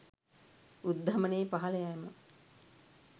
උද්ධමනයේ පහළ යාම